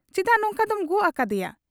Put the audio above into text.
ᱪᱮᱫᱟᱜ ᱱᱚᱝᱠᱟ ᱫᱚᱢ ᱜᱚᱜ ᱟᱠᱟᱫ ᱮᱭᱟ ?